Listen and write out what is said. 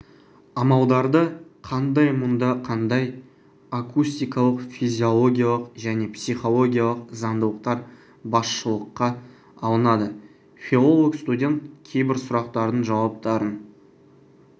амалдары қандай мұнда қандай акустикалық физиологиялық және психологиялық заңдылықтар басшылыққа алынады филолог-студент кейбір сұрақтардың жауаптарын